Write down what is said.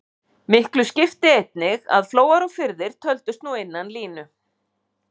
Miklu skipti einnig að flóar og firðir töldust nú innan línu.